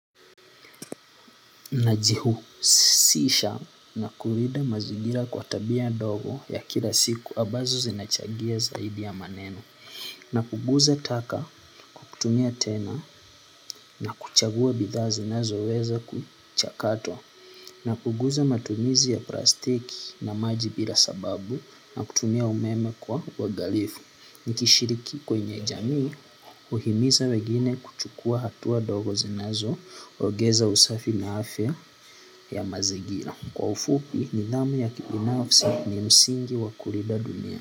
Najihusisha na kulinda mazingira kwa tabia ndogo ya kila siku ambazo zinachangia zaidi ya maneno. Na kuguza taka kutumia tena na kuchagua bidhaa zinazo weza kuchakatwa. Napunguza matumizi ya plastiki na maji bila sababu na kutumia umeme kwa uangalifu. Nikishiriki kwenye jamii huhimiza wengine kuchukua hatua ndogo zinazo ongeza usafi na afya ya mazingira kwa ufupi nidhamu ya kibinafsi ni msingi wa kulinda dunia.